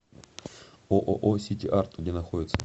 ооо сити арт где находится